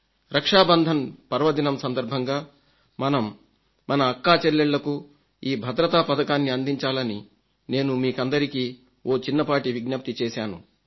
రక్షాబంధన్ పర్వదినం సందర్భంగా మనం మన అక్కాచెల్లెళ్లకు ఈ భద్రతా పథకాన్ని అందించాలని నేను మీకందరికీ ఓ చిన్నపాటి విజ్ఞప్తి చేశాను